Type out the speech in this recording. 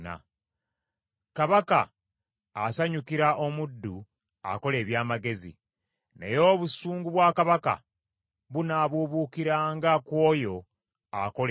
Kabaka asanyukira omuddu akola eby’amagezi, naye obusungu bwa kabaka bunaabuubuukiranga ku oyo akola ebiswaza.